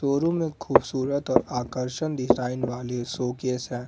Showroom में खूबसूरत और आकर्षक डिजाइन वाली शोकेस हैं ।